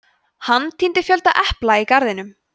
hann tíndi fjölda epla í garðinum